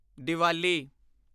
Diwali